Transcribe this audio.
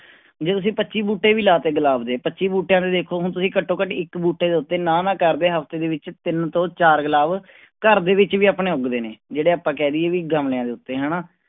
ਜੇ ਤੁਸੀਂ ਪੱਚੀ ਬੂਟੇ ਵੀ ਲਾ ਦਿੱਤੇ ਗੁਲਾਬ ਦੇ ਪੱਚੀ ਬੂਟਿਆਂ ਦੇ ਦੇਖੋ ਹੁਣ ਤੁਸੀਂ ਘੱਟ ਘੱਟ ਇੱਕ ਬੂਟੇ ਦੇ ਉੱਤੇ ਨਾ ਨਾ ਕਰਦੇ ਹਫ਼ਤੇ ਦੇ ਵਿੱਚ ਤਿੰਨ ਤੋਂ ਚਾਰ ਗੁਲਾਬ ਘਰ ਦੇ ਵਿੱਚ ਵੀ ਆਪਣੇ ਉੱਗਦੇ ਨੇ, ਜਿਹੜੇ ਆਪਾਂ ਕਹਿ ਦੇਈਏ ਵੀ ਗਮਲਿਆਂ ਦੇ ਉੱਤੇ ਹਨਾ,